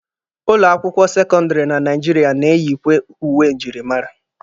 Ụlọ akwụkwọ sekọndịrị na Naijiria na-eyikwe uwe njirimara.